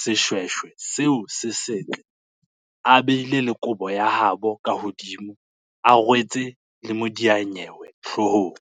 seshweshwe seo se setle, a beile le kobo ya habo ka hodimo, a rwetse le modiyanyewe hloohong.